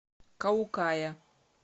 каукая